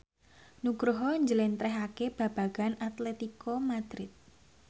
Nugroho njlentrehake babagan Atletico Madrid